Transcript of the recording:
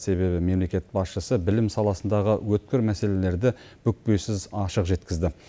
себебі мемлекет басшысы білім саласындағы өткір мәселелерді бүкпесіз ашық жеткізді